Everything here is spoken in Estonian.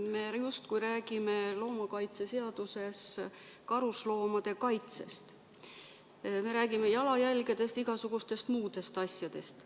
Me justkui räägime loomakaitseseaduses karusloomade kaitsest, me räägime jalajälgedest, igasugustest muudest asjadest.